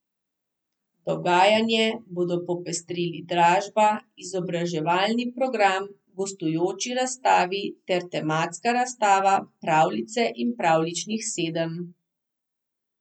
Dogajanje bodo popestrili dražba, izobraževalni program, gostujoči razstavi ter tematska razstava Pravljice in pravljičnih sedem.